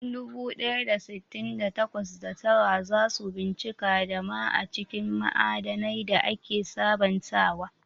Dubu ɗaya da sittin da takwas, da tara za su bincika dama a cikin ma'adanai da ake sabantawa.